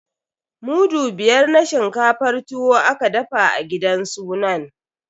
Mudu biyar na shinkafar tuwo aka dafa a gidan sunan.